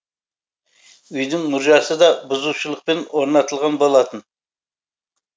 үйдің мұржасы да бұзушылықпен орнатылған болатын